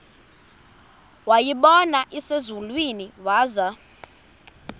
wayibona iselusizini waza